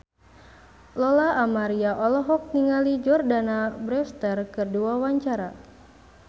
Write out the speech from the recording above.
Lola Amaria olohok ningali Jordana Brewster keur diwawancara